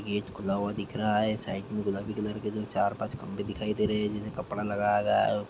Gate खुला हुआ दिख रहा है । साइड में गुलाबी कलर के चार पाच खम्भे दिखाई दे रहे हैजिन में कपड़ा लगाया गया है।